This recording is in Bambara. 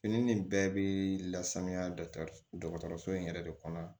Fini nin bɛɛ bi lasanuya dɔgɔtɔrɔso in yɛrɛ de kɔnɔ